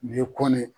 Nin ye kɔn ne ye